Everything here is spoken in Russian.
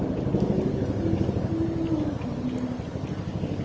и поле здесь кругом